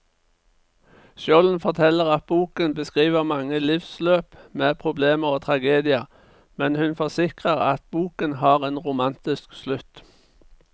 Skjolden forteller at boken beskriver mange livsløp med problemer og tragedier, men hun forsikrer at boken har en romantisk slutt.